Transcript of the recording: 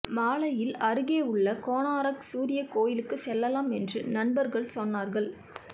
மாலையில் அருகே உள்ள கொனார்க் சூரியக் கோயிலுக்குச் செல்லலாம் என்று நண்பர்கள் சொன்னார்கள்